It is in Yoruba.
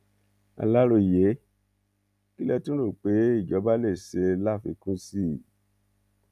aláròyé kí lẹ tún rò pé ìjọba lè ṣe láfikún sí i